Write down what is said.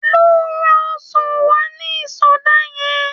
Lọ ra ọsàn wá ní ìsọdá yẹn.